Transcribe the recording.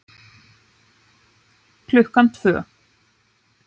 Klukkan tvö.